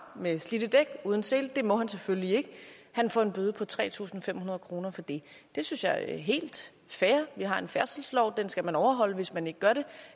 med slidte dæk og uden sele det må han selvfølgelig ikke han får en bøde på tre tusind fem hundrede kroner for det det synes jeg er helt fair vi har en færdselslov og den skal man overholde og hvis man ikke gør det